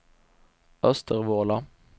Östervåla